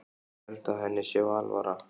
Ég held að henni sé alvara.